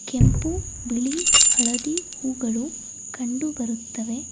ಕೆಂಪು ಬಿಳಿ ಹಳದಿ ಹೂಗಳು ಕಂಡು ಬರುತ್ತವೆ.